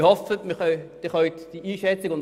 Wir hoffen, Sie teilen diese Einschätzung.